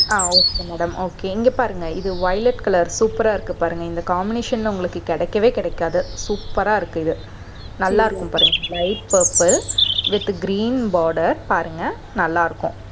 அஹ் okay madam okay இங்க பாருங்க. இது violet color super ஆ இருக்கு பாருங்க. இந்த combination ல உங்களுக்கு கிடைக்கவே கிடைக்காது. super ஆ இருக்கு இது நல்லா இருக்கும் பாருங்க. light purple with green border பாருங்க நல்லாருக்கும்